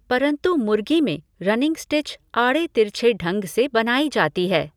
परंतु मुर्गी में रनिंग स्टिच आड़े तिरछे ढंग से बनाई जाती है।